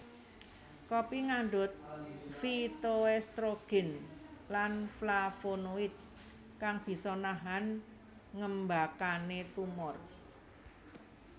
Kopi ngandhut phytoestrogen lan flavonoid kang bisa nahan ngembakane tumor